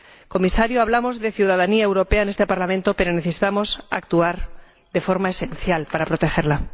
Comisario, hablamos de ciudadanía europea en este Parlamento, pero debemos actuar de forma esencial para protegerla.